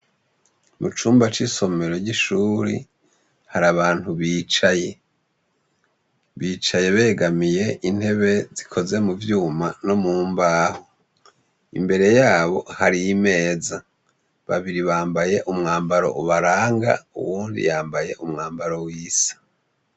Mu cumba c'isomero ry'ishure hari abantu bicaye. Bicaye begamiye intebe zikoze mu vyuma no mu mbaho. Imbere yabo hari imeza. Babiri bambaye umwambaro ubaranga, uwundi yambaye umwambaro wisa.